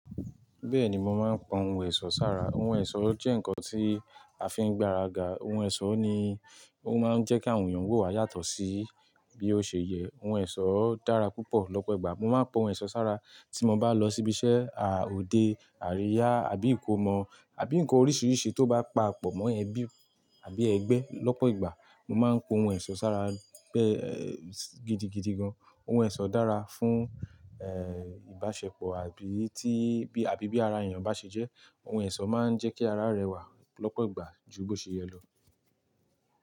Bẹ́ẹ̀ni, mo máa ń wo ohun ẹ̀ṣọ́ sára. Ohun ẹ̀ṣọ́ jẹ́ nǹkan tí a fi ń gbaraga. Ohun ẹ̀ṣọ́ ni ó máa ń jẹ́ kí àwọn èèyàn wò wá yàtọ̀ sí bí ó ṣe yẹ. Ohun ẹ̀ṣọ́ dára púpọ̀. Lọ́pọ̀ ìgbà mo máa ń wo ohun ẹ̀ṣọ́ sára tí mo bá lọ síbi iṣẹ́, à ode, àríyá àbí ìkómọ àbí nǹkan oríṣiríṣi tó bá papọ̀ mọ́ ẹbí àbí ẹgbẹ́. Lọ́pọ̀ ìgbà mo máa ń ku ohun ẹ̀ṣọ́ sára bẹ́ẹ́, gidi gidigan. Ohun ẹ̀ṣọ́ dára fún, ẹ́ẹ́, ìbáṣepọ̀ àbí tí, àbí bí ara èèyàn bá ṣe jẹ́. Ohun ẹ̀ṣọ́ máa ń jẹ́ kí ara rẹwà lọ́pọ̀ ìgbà ju bó ṣe yẹ lọ.